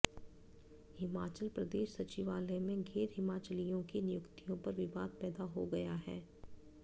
हिमाचल प्रदेश सचिवालय में गैर हिमाचलियों की नियुक्तियों पर विवाद पैदा हो गया है